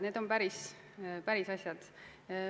Need on päris asjad.